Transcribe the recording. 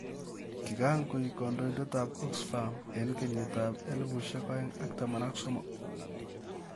Kikakoeek kandoindet ap Oxfam eng' kenyit ap 2013